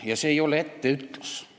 Ja ma ei taha teha mingit etteütlust.